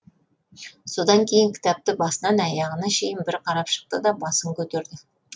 содан кейін кітапты басынан аяғына шейін бір қарап шықты да басын көтерді